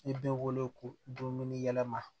I bɛ wele ko dumuni yɛlɛma